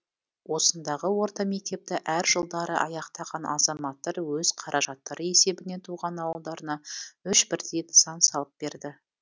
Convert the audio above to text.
осындағы орта мектепті әр жылдары аяқтаған азаматтар өз қаражаттары есебінен туған ауылдарына үш бірдей нысан салып берді